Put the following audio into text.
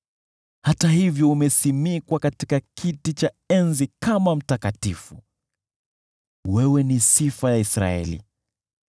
Hata hivyo umesimikwa katika kiti cha enzi kama Uliye Mtakatifu; wewe ni sifa ya Israeli.